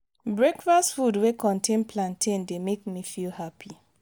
breakfast food wey contain plantain dey make me feel happy.